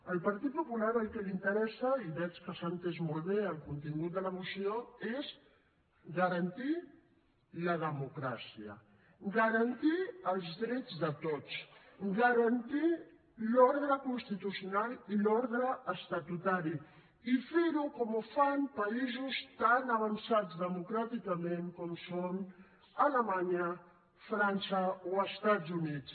al partit popular el que l’interessa i veig que s’ha entès molt bé el contingut de la moció és garantir la democràcia garantir els drets de tots garantir l’ordre constitucional i l’ordre estatutari i fer ho com ho fan països tan avançats democràticament com són alemanya frança o estats units